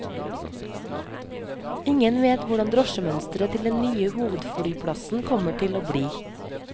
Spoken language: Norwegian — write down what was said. Ingen vet hvordan drosjemønsteret til den nye hovedflyplassen kommer til å bli.